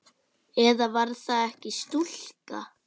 Eða var það ekki stúlka?